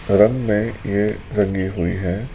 रंग में ये रंगी हुई है।